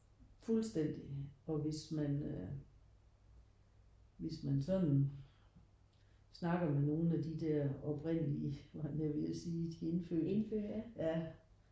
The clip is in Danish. Fuldstændig og hvis man øh hvis man sådan snakker med nogen af de der oprindelige var jeg ved at sige de indfødte ja